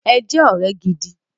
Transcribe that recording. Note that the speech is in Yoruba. Ẹ jẹ́ ọ̀rẹ́ gidi!